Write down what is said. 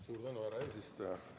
Suur tänu, härra eesistuja!